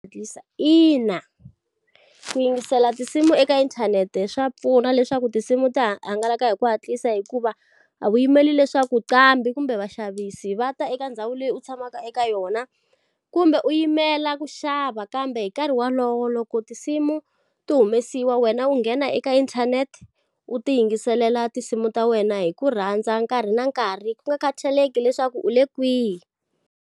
Ina, ku yingisela tinsimu eka inthanete swa pfuna leswaku tinsimu ti hangalaka hi ku hatlisa hikuva, a wu yimeli leswaku qambi kumbe vaxavisi va ta eka ndhawu leyi u tshamaka eka yona. Kumbe u yimela ku xava kambe hi nkarhi wolowo loko tinsimu ti humesiwa wena u nghena eka inthanete, u ti yingiselela tinsimu ta wena hi ku rhandza nkarhi na nkarhi ku nga khathaleki leswaku u le kwihi.